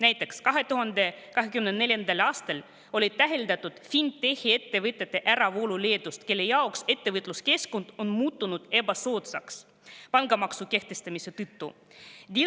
Näiteks oli 2024. aastal täheldatud fintech'i ettevõtete äravoolu Leedust, kuna nende jaoks on ettevõtluskeskkond muutunud pangamaksu kehtestamise tõttu ebasoodsaks.